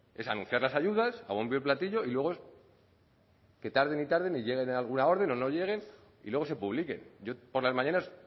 es anunciar las ayudas a bombo y platillo y luego es que tarden y tarden y llegue alguna orden o no lleguen y luego se publiquen yo por las mañanas